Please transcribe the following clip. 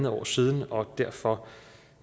år siden og derfor